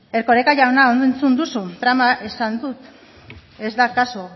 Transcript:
erkoreka jauna ondo entzun duzu trama esan dut ez da kaso